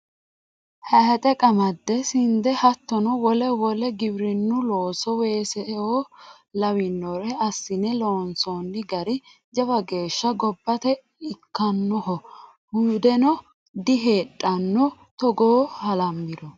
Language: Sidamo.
Hayixe qamade sinde hattono wole wole giwirinu looso weeseo lawinoreno assine loonsonni gari jawa geeshsha gobbate ikkanoho hudeno diheedhano togooni halamiro.